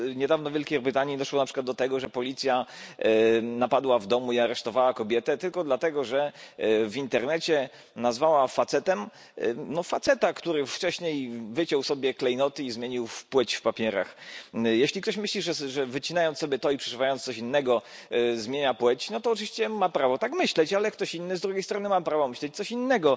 Bo niedawno w Wielkiej Brytanii doszło do tego, na przykład, że policja napadła w domu i aresztowała kobietę tylko dlatego, że w internecie nazwała facetem, no faceta, który wcześniej wyciął sobie klejnoty i zmienił płeć w papierach. Jeśli ktoś myśli, że wycinając sobie to i przeżywając coś innego, zmienia płeć, no to oczywiście ma prawo tak myśleć, ale ktoś inny z drugiej strony ma prawo myśleć coś innego.